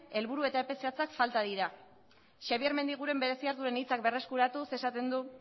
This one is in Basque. helburu eta epe zehatzak falta dira xabier mendiguren bereziak duen hitzak berreskuratuz esaten du